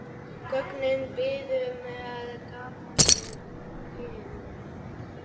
Göngin biðu með gapandi ginið.